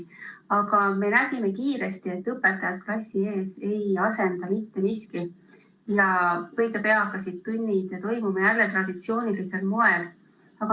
Aga me nägime kiiresti, et õpetajat klassi ees ei asenda mitte miski, ja õige pea hakkasid tunnid jälle toimuma traditsioonilisel moel.